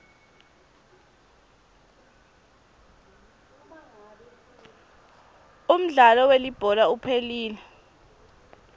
umdlalo welibhola uphelile